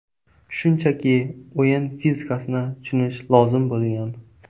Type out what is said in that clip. Shunchaki o‘yin fizikasini tushunish lozim bo‘lgan.